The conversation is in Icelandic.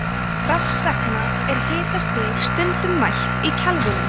hvers vegna er hitastig stundum mælt í kelvínum